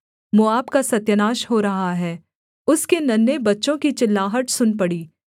मोआब का सत्यानाश हो रहा है उसके नन्हें बच्चों की चिल्लाहट सुन पड़ी